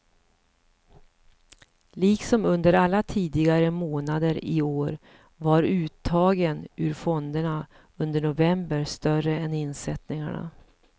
Liksom under alla tidigare månader i år var uttagen ur fonderna under november större än insättningarna.